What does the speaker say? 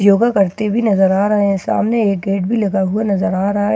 योगा करते बी नजर आ रहे हैं सामने एक गेट भी लगा हुआ नजर आ रहा हैं --